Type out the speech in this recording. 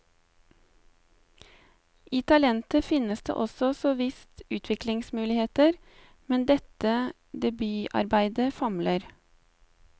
I talentet finnes det så visst utviklingsmuligheter, men dette debutarbeidet famler.